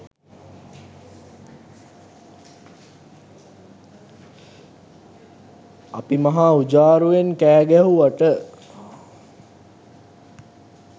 අපි මහා උජාරුවෙන් කෑ ගැහුවට